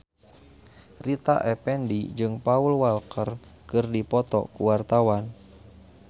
Rita Effendy jeung Paul Walker keur dipoto ku wartawan